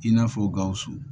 I n'a fɔ gawusu